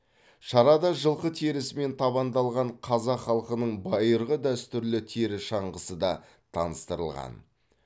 шарада жылқы терісімен табандалған қазақ халқының байырғы дәстүрлі тері шаңғысы да таныстырылған